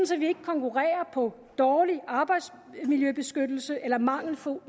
så vi ikke konkurrerer på dårlig arbejdsmiljøbeskyttelse eller mangelfuld